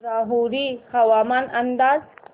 राहुरी हवामान अंदाज